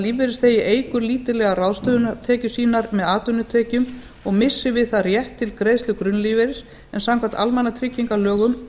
lífeyrisþegi eykur lítillega ráðstöfunartekjur sínar með atvinnutekjum og missir við það rétt til greiðslu grunnlífeyris en samkvæmt almannatryggingalögum